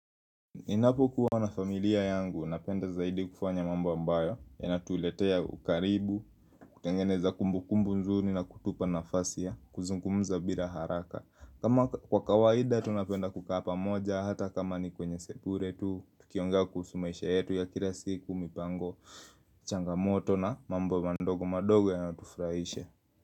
Ninapo kuwa na familia yangu, napenda zaidi kufanya mambo ambayo, yanatu letea ukaribu, kutengeneza kumbu kumbu nzuri na kutupa nafasi ya, kuzungumuza bila haraka. Kama kwa kawaida, tunapenda kukaa pamoja, hata kama ni kwenye sekure tu, tukiongea kuhusu meisha yetu ya kila siku, mipango, changamoto na mambo mandogo madogo yanatufurahisha.